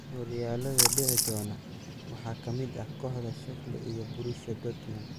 Horyaalada dhici doona waxaa ka mid ah kooxda Schalke iyo Borussia Dortmund.